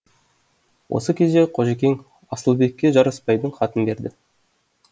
осы кезде қожекең асылбекке жарасбайдың хатын берді